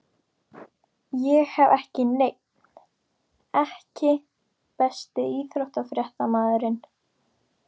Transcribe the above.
Ég hef ekki neinn EKKI besti íþróttafréttamaðurinn?